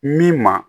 Min ma